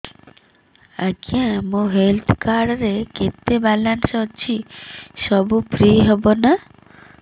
ଆଜ୍ଞା ମୋ health card ରେ କେତେ ବାଲାନ୍ସ ଅଛି ସବୁ ଫ୍ରି ହବ ନାଁ